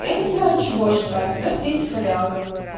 я не знаю чего ждать нас есть хоряга